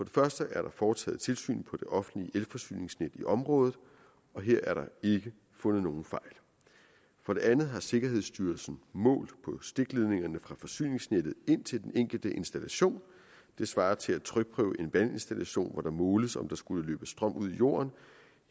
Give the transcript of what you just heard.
første er der foretaget tilsyn på det offentlige elforsyningsnet i området og her er der ikke fundet nogen fejl for det andet har sikkerhedsstyrelsen målt på stikledningerne fra forsyningsnettet ind til den enkelte installation det svarer til at trykprøve en vandinstallation hvor der måles om der skulle løbe strøm ud i jorden